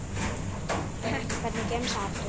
pepp Hvernig gemsa áttu?